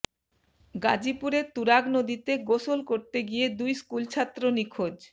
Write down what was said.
গাজীপুরে তুরাগ নদীতে গোসল করতে গিয়ে দুই স্কুল ছাত্র নিখোঁজ